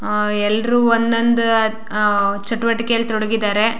ಅಹ್ ಎಲ್ರು ಒಂದ ಒಂದ ಅಹ್ ಚಟುವಟಿಕೆಯಲ್ಲಿ ತೊಡಗಿದರೆ.